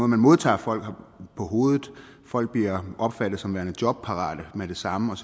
man modtager folk på på hovedet folk bliver opfattet som værende jobparate med det samme og